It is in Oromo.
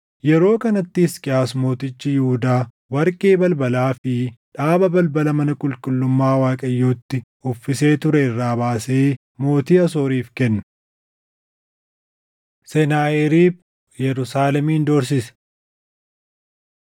Yeroo kanatti Hisqiyaas mootichi Yihuudaa warqee balbalaa fi dhaaba balbala mana qulqullummaa Waaqayyootti uffisee ture irraa baasee mootii Asooriif kenne. Senaaheriib Yerusaalemin Doorsise 18:13,17‑37 kwf – Isa 36:1‑22 18:17‑35 kwf – 2Sn 32:9‑19